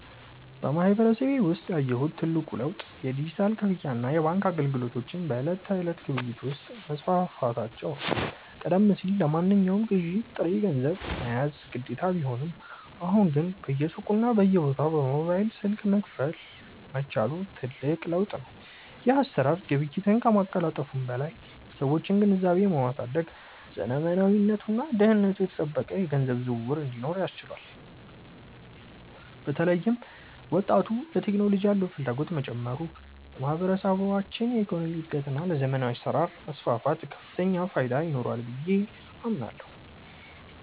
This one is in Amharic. በማህበረሰቤ ውስጥ ያየሁት ትልቁ ለውጥ የዲጂታል ክፍያና የባንክ አገልግሎቶች በዕለት ተዕለት ግብይት ውስጥ መስፋፋታቸው ነው። ቀደም ሲል ለማንኛውም ግዢ ጥሬ ገንዘብ መያዝ ግዴታ ቢሆንም፣ አሁን ግን በየሱቁና በየቦታው በሞባይል ስልክ መክፈል መቻሉ ትልቅ ለውጥ ነው። ይህ አሰራር ግብይትን ከማቀላጠፉም በላይ የሰዎችን ግንዛቤ በማሳደግ ዘመናዊና ደህንነቱ የተጠበቀ የገንዘብ ዝውውር እንዲኖር አስችሏል። በተለይም ወጣቱ ለቴክኖሎጂ ያለው ፍላጎት መጨመሩ ለማህበረሰባችን የኢኮኖሚ እድገትና ለዘመናዊ አሰራር መስፋፋት ከፍተኛ ፋይዳ ይኖረዋል ብዬ አምናለሁ።